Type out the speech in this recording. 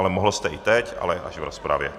Ale mohl jste i teď, ale až v rozpravě.